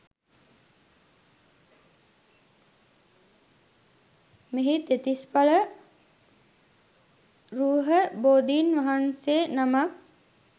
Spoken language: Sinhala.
මෙහි දෙතිස්ඵල රුහ බෝධීන් වහන්සේ නමක්